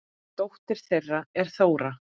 Dóttir þeirra er Þóra.